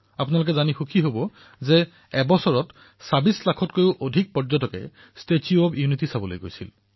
আপোনালোকে জানি সুখী হব যে এবছৰত ২৬ লাখতকৈও অধিক পৰ্যটকে ষ্টেচু অব্ ইউনিটী দৰ্শন কৰিবলৈ আহিছে